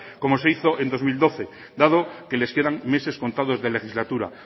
como se hizo en dos mil doce dado que les quedan meses contados de legislatura